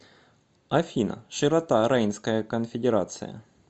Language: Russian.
афина широта рейнская конфедерация